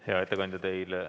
Hea ettekandja, teile ...